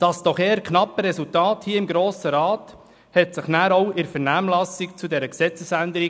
Das eher knappe Resultat im Grossen Rat widerspiegelte sich dann auch in der Vernehmlassung zu dieser Gesetzesänderung.